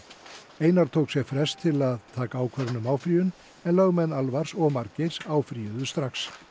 einar tók sér frest til að taka ákvörðun um áfrýjun en lögmenn og Margeirs áfrýjuðu strax